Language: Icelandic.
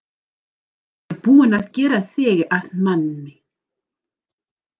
Ég er búinn að gera þig að manni.